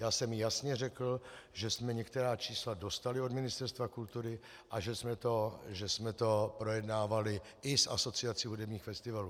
Já jsem jasně řekl, že jsme některá čísla dostali od Ministerstva kultury a že jsme to projednávali i s Asociací hudebních festivalů.